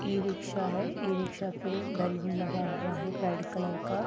इ रिक्शा है e rickshaw पे बैलून लगा हुआ है रेड कलर का।